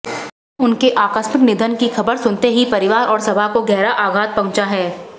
उनके आकस्मिक निधन की खबर सुनते ही परिवार और सभा को गहरा आघात पहुंचा है